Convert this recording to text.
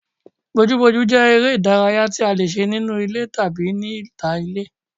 Bojúbojú jẹ́ eré ìdárayá tí a lè ṣe nínú ilé tàbí ní ìta ilé